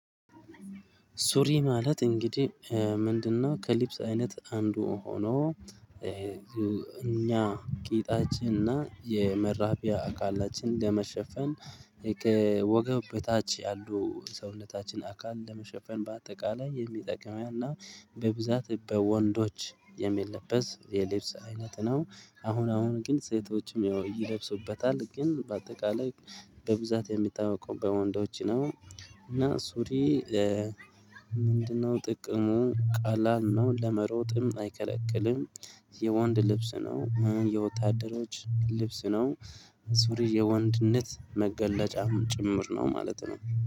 ሱሪ ማለት እንግዲህ ምንድነው? ከልብስ አይነት አንዱ ሆኖ እኛ ቂጣችንና የመራቢያ አካላችን ለመሸፈን ወገብ በታች ያሉ ሰውነታችን አካል ለመሸፈን በአጠቃላይ የሚጠቅመን እና በብዛት በወንዶች የሚለበስ የልብስ አይነት ነው። አሁን አሁን ግን ሴቶችም ያው ይለብሱታል ግን በአጠቃላይ በብዛት የሚታወቀው በወንዶች ነው። እና ሱሪ። ምንድነው ጥቅሙ? ቀላል ነው ለመሮጥም አይከለክልም። የወንድ ልብስ ነው የወታደሮች ልብስ ነው። ሱሪ የወንድነት መገለጫም ጭምር ነው ማለት ነው